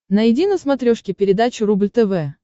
найди на смотрешке передачу рубль тв